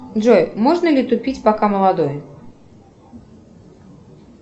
джой можно ли тупить пока молодой